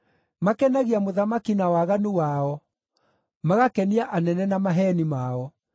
“Makenagia mũthamaki na waganu wao, magakenia anene na maheeni mao.